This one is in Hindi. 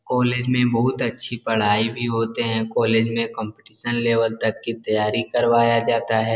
कॉलेज में बहुत अच्छी पढ़ाई भी होते हैं । कॉलेज मे कॉम्पिटीशन लेवल तक की तैयारी करवाया जाता है।